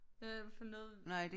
I hvert fald noget